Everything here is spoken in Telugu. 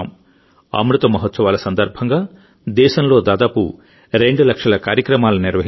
అమృత మహోత్సవాలసందర్భంగా దేశంలో దాదాపు రెండు లక్షల కార్యక్రమాలను నిర్వహించారు